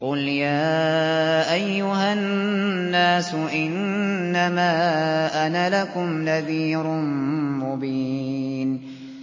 قُلْ يَا أَيُّهَا النَّاسُ إِنَّمَا أَنَا لَكُمْ نَذِيرٌ مُّبِينٌ